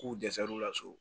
K'u dɛsɛr'u la so